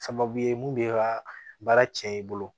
Sababu ye mun b'e ka baara cɛn i bolo